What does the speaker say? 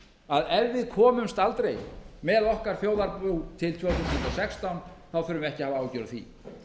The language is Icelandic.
að ef við komumst aldrei með okkar þjóðarbú ári tvö þúsund og sextán þá þurfum við ekki að hafa áhyggjur af því